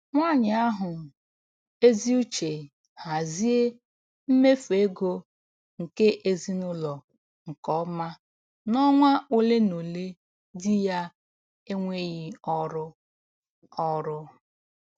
Nwanyị ahụ ezi uche hazie mmefu ego nke ezinụlọ nke ọma n'ọnwa ole na ole di ya enweghị ọrụ ọrụ